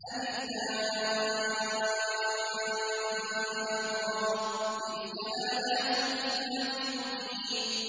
الر ۚ تِلْكَ آيَاتُ الْكِتَابِ الْمُبِينِ